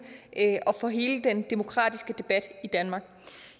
og for hele den demokratiske debat i danmark